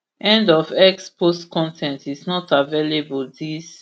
end of x post con ten t is not available dis